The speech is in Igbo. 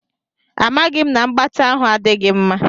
Amaghị m na mgbata ahụ adịghị mma.